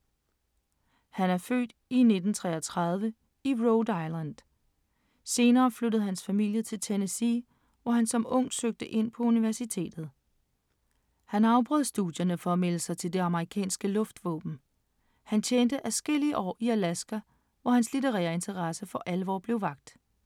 Han er født 1933 i Rhode Island. Senere flyttede hans familie til Tennessee, hvor han som ung søgte ind på universitetet. Han afbrød studierne for at melde sig til det amerikanske luftvåben. Han tjente adskillige år i Alaska, hvor hans litterære interesse for alvor blev vakt.